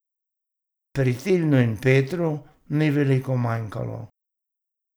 Pri Tilnu in Petru ni veliko manjkalo.